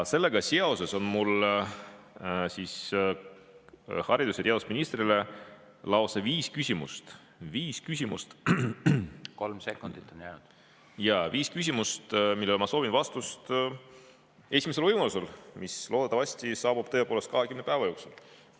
Sellega seoses on mul haridus- ja teadusministrile lausa viis küsimust, millele ma soovin vastust esimesel võimalusel, mis loodetavasti saabub tõepoolest 20 päeva jooksul.